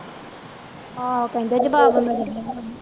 ਆਹੋ ਕਹਿੰਦੇ ਜਵਾਬ ਮਿਲ ਗਿਆ ਹੋਣਾ